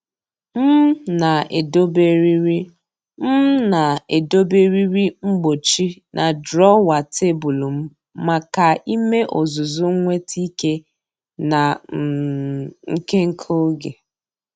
M na-edobe eriri M na-edobe eriri mgbochi na drawer tebụl m maka ime ọzụzụ nweta ike na um nke nke oge.